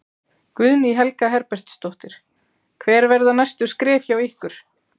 Guðný Helga Herbertsdóttir: Hver verða næstu skref hjá ykkur?